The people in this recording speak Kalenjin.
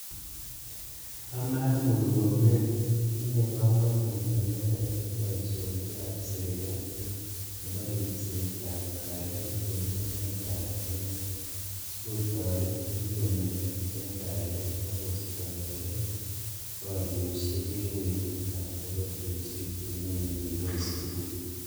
Anoe Murkomen, tinye komonut inendet en boisionikap sirkali nepo ripsetap kalyet en emetap Kenya sikotoret piik komeng'is en kalyet ak koistoenge poriosiek en kwenutap pororiosiek chemeng'yindos tugul.